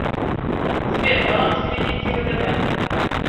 сбер баланс кредитки втб